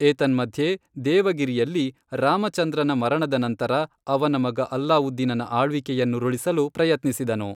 ಏತನ್ಮಧ್ಯೆ, ದೇವಗಿರಿಯಲ್ಲಿ, ರಾಮಚಂದ್ರನ ಮರಣದ ನಂತರ, ಅವನ ಮಗ ಅಲಾವುದ್ದೀನನ ಆಳ್ವಿಕೆಯನ್ನುರುಳಿಸಲು ಪ್ರಯತ್ನಿಸಿದನು.